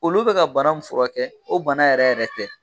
Olu be ka bana mun fura kɛ o bana yɛrɛ yɛrɛ tɛ